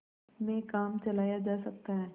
में काम चलाया जा सकता है